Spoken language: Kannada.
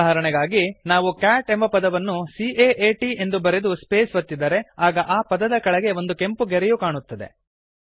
ಉದಾಹರಣೆಗಾಗಿ ನಾವು ಕ್ಯಾಟ್ ಎಂಬ ಪದವನ್ನು C A A T ಎಂದು ಬರೆದು ಸ್ಪೇಸ್ ಒತ್ತಿದರೆ ಆಗ ಆ ಪದದ ಕೆಳಗೆ ಒಂದು ಕೆಂಪು ಗೆರೆಯು ಕಾಣುತ್ತದೆ